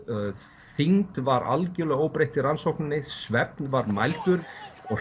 þyngd var algjörlega óbreytt í rannsókninni svefn var mældur og